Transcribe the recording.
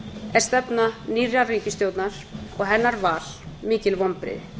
er stefna nýrrar ríkisstjórnar og hennar val mikil vonbrigði